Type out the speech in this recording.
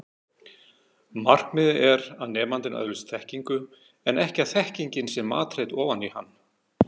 Markmiðið er að nemandinn öðlist þekkingu en ekki að þekkingin sé matreidd ofan í hann.